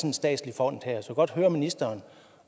en statslig fond her så godt høre ministeren